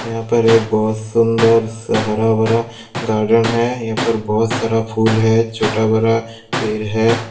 यहां पर एक बहुत सुंदर सा हरा भरा गार्डन है यहां पर बहुत सारा फूल है छोटा बड़ा पेड़ है।